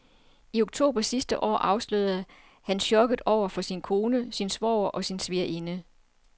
I oktober sidste år afslørede han chokket over for sin kone, sin svoger og sin svigerinde.